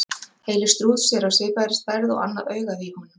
Heili strúts er af svipaði stærð og annað augað á honum.